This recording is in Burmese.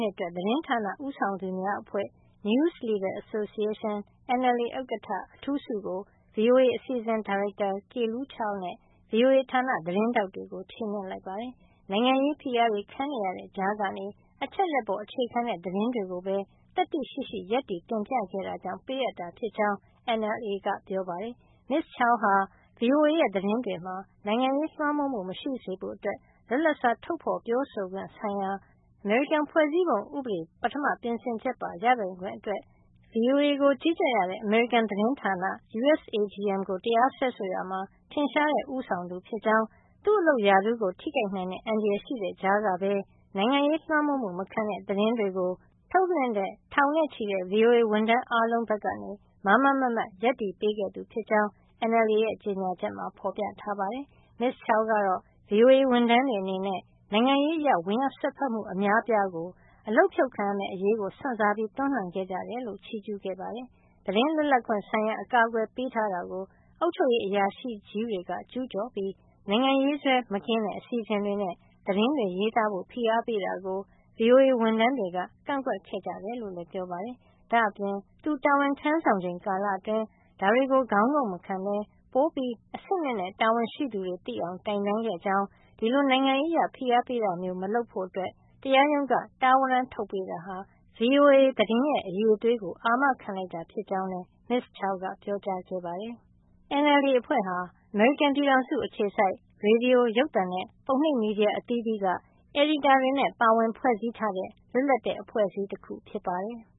ှစ်အတွက် သတင်းဌာနဦးဆောင်သူများအဖွဲ့ News Leaders Association – NLA ဥက္ကဋ္ဌ အထူးဆုကို VOA အစီအစဉ်ဒါရိုက်တာ Kelu Chao နဲ့ VOA ဌာနသတင်းထောက်တွေကို ချီးမြှင့်လိုက်ပါတယ်။ နိုင်ငံရေး ဖိအားတွေခံနေရတဲ့ ကြားကနေ အချက်အလက်ပေါ် အခြေခံတဲ့ သတင်းတွေကိုပဲ သတ္တိရှိရှိ ရပ်တည် တင်ပြခဲ့တာကြောင့် ပေးအပ်တာ ဖြစ်ကြောင်း NLA က ပြောပါတယ်။ Ms. Chao ဟာ VOA ရဲ့ သတင်းတွေမှာ နိုင်ငံရေးလွှမ်းမိုးမှု မရှိစေဖို့ လွတ်လပ်စွာ ထုတ်ဖေါ်ပြောဆိုခွင့် ဆိုင်ရာ အမေရိကန်ဖွဲ့စည်းပုံဥပဒေ ပထမ ပြင်ဆင်ချက်ပါ ရပိုင်ခွင့်အတွက် VOA ကို ကြီးကြပ်ရတဲ့ အမေရိကန်သတင်းဌာန USAGM ကို တရားစွဲဆိုရာမှာ ထင်ရှားတဲ့ ဦးဆောင်သူ ဖြစ်ကြောင်း၊ သူ့အလုပ်ရာထူးထိခိုက်နိုင်တဲ့ အန္တရာယ်ရှိတဲ့ ကြားကပဲ နိုင်ငံရေးလွှမ်းမိုးမှု မခံတဲ့ သတင်းတွေ ထုတ်လွှင့်တဲ့ ထောင်နဲ့ချီတဲ့ VOA ဝန်ထမ်းအားလုံး ဘက်က မားမားမတ်မတ် ရပ်တည်ပေးခဲ့ သူဖြစ်ကြောင်း NLA ရဲ့ ကြေညာချက်မှာ ဖေါ်ပြထားပါတယ်။ Ms. Chao ကတော့ VOA ဝန်ထမ်းတွေ အနေနဲ့ နိုင်ငံရေးအရ ဝင်ရောက်စွက်ဖက်မှု အများအပြားကို အလုပ်ဖြုတ်ခံရမယ့် အရေး စွန့်စားပြီး တွန်းလှန်ခဲ့ကြတယ်လို့ ချီးကြူးခဲ့ပါတယ်။ သတင်းလွတ်လပ်ခွင့် ဆိုင်ရာ အကာကွယ်ပေးထားတာကို အုပ်ချုပ်ရေး အရာရှိကြီးတွေက ကျူးကျော်ပြီး နိုင်ငံရေးစွဲ မကင်းတဲ့ အစီစဉ်တွေနဲ့ သတင်းရေးသားဖို့ ဖိအားပေးတာကို VOA ဝန်ထမ်းတွေက ကန့်ကွက်ခဲ့ကြတယ်လို့လည်း ပြောပါတယ်။ ဒါ့အပြင် သူတာဝန်ထမ်းဆောင်ချိန် ကာလအတွင်း ဒါတွေကို ခေါင်းငုံ့မခံပဲ ပိုမိုအဆင့်မြင့်တဲ့ တာဝန်ရှိသူတွေ သိအောင် တိုင်တန်းခဲ့ကြောင်း၊ ဒီလို နိုင်ငံရေးအရ ဖိအားပေးတာမျိုး မလုပ်ဖို့ တရားရုံးက တားဝရန်းထုတ်ပေးတာဟာ VOA သတင်းရဲ့ အရည်အသွေးကို အာမခံလိုက်တာ ဖြစ်ကြောင်းလည်း Ms. Chao ကပြောကြားခဲ့ပါတယ်။ NLA ဟာ အမေရိကန်ပြည်ထောင်စုက ရေဒီယို၊ ရုပ်သံနဲ့ ပုံနှိပ် သတင်းမီဒီယာဌာနတွေက အယ်ဒီတာတွေ ပါဝင်ဖွဲ့စည်းထားတဲ့ လွတ်လပ်တဲ့ အဖွဲ့အစည်း တခု ဖြစ်ပါတယ်။